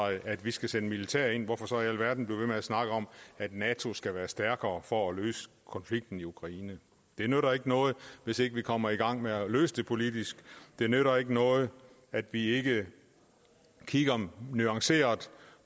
at vi skal sende militær ind så hvorfor i alverden blive ved med at snakke om at nato skal være stærkere for at løse konflikten i ukraine det nytter ikke noget hvis ikke vi kommer i gang med at løse det politisk det nytter ikke noget at vi ikke kigger nuanceret